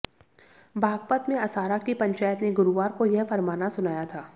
बागपत में असारा की पंचायत ने गुरुवार को यह फरमाना सुनाया था